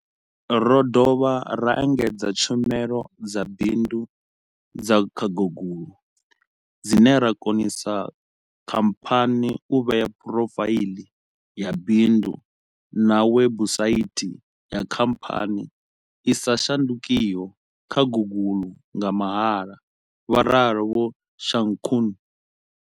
Ro dovha ra engedza tshumelo dza bindu dza kha Google, dzine dza konisa khamphani u vhea phurofaiḽi ya bindu na webusaithi ya khamphani i sa shandukiho kha Google nga mahala, vho ralo Vho Shakung.